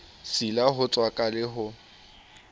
sila ho tswaka le ho